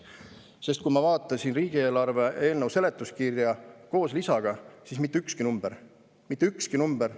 Sest kui ma vaatasin riigieelarve eelnõu seletuskirja koos lisaga, siis mitte ükski number – mitte ükski number!